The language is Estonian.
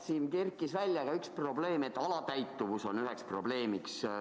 Siin kerkis välja ka, et alatäitumus on üks probleem.